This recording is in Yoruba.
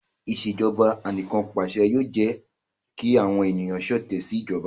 Ìṣèjọba Anìkanpàṣẹ yoo jẹ ki awọn eniyan ṣọtẹ si ijọba